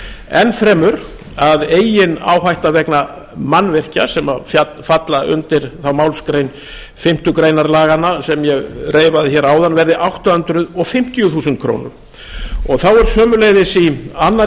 ennfremur að eigin áhætta vegna mannvirkja sem falla undir þá málsgrein fimmtu grein laganna sem ég reifaði hérna áðan verði átta hundruð fimmtíu þúsund krónur þá er sömuleiðis í annarri